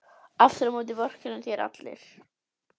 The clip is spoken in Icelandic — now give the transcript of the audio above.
Aftur á móti vorkenna þér allir.